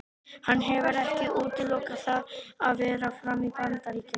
Hann hefur ekki útilokað það að vera áfram í Bandaríkjunum.